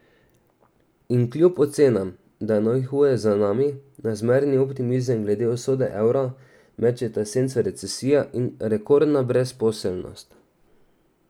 In kljub ocenam, da je najhuje za nami, na zmerni optimizem glede usode evra mečeta senco recesija in rekordna brezposelnost.